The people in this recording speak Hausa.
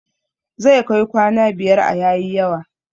Zai kai kwana biyar a yayi yawa